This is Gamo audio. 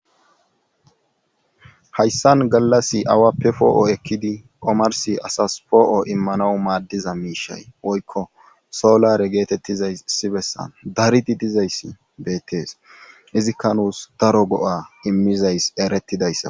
hayssan gallas awappe poo7o ekkidi omarsi asas poo7o immanawu maaddiza miishay woykko soolare geetettizayssi bessa daridi dizayssi beettees izikka nuus daro go7a immizays erettidayssa